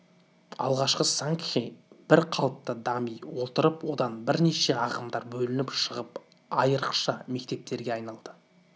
алғашқы сангхи бір қалыпта дами отырып одан бірнеше ағымдар бөлініп шығып айрықша мектептерге айналды